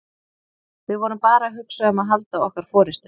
Við vorum bara að hugsa um að halda okkar forystu.